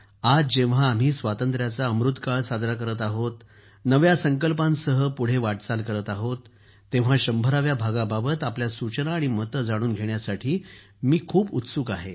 आज जेव्हा आपण स्वातंत्र्याचा अमृतकाळ साजरा करत आहोत नव्या संकल्पांसह पुढे वाटचाल करत आहोत तेव्हा शंभराव्या भागाबाबत आपल्या सूचना आणि मते जाणून घेण्यासाठी मी खूप उत्सुक आहे